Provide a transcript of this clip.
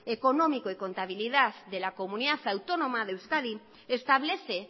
económico y contabilidad de la comunidad autónoma de euskadi establece